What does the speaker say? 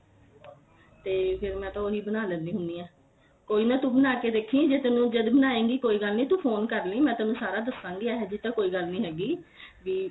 ਤੇ ਮੈਂ ਫੇਰ ਮੈਂ ਤਾਂ ਉਹੀ ਬਣਾ ਲੈਨੀ ਹੁੰਨੀ ਆ ਕੋਈ ਨਾ ਤੂੰ ਬਣਾ ਕੇ ਦੇਖੀ ਜਦ ਬਣਾਏ ਗੀ ਕੋਈ ਗੱਲ ਨੀ ਤੂੰ phone ਕਰ ਲਈ ਮੈਂ ਤੈਨੂੰ ਸਾਰਾ ਦਸਾ ਗੀ ਇਹ ਜੀ ਤਾਂ ਕੋਈ ਗੱਲ ਨੀਂ ਹੈਗੀ ਵੀ